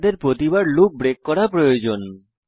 আমাদের প্রতিবার loop break করা প্রয়োজন